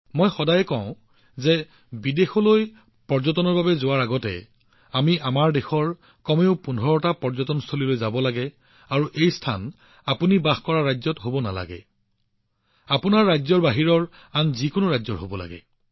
মই সদায় কওঁ যে পৰ্যটনৰ বাবে বিদেশলৈ যোৱাৰ আগতে আমি আমাৰ দেশৰ কমেও ১৫টা পৰ্যটনস্থলী ভ্ৰমণ কৰিব লাগিব আৰু এই গন্তব্যস্থানবোৰ আপুনি বাস কৰা ৰাজ্যৰ হব নালাগে সেইবোৰ আপোনাৰ ৰাজ্যৰ বাহিৰৰ আন যিকোনো ৰাজ্যৰ হব লাগিব